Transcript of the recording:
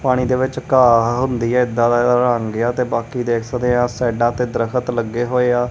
ਪਾਣੀ ਦੇ ਵਿੱਚ ਘਾਹ ਹੁੰਦੀ ਹੈ ਇਦਾਂ ਹੁੰਦੀ ਆ ਤੇ ਇਦਾਦਾਂ ਇਦਾਂ ਰੰਗ ਆ ਤੇ ਬਾਕੀ ਦੇਖ ਸਕਦੇ ਆ ਸਾਈਡਾਂ ਤੇ ਦਰਖਤ ਲੱਗੇ ਹੋਏ ਆ।